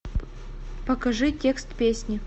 покажи текст песни